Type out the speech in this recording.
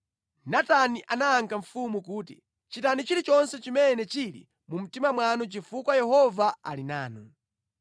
Natani anayankha mfumu kuti, “Chitani chilichonse chimene chili mu mtima mwanu chifukwa Yehova ali nanu.”